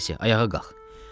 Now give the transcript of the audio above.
Vasya, ayağa qalx.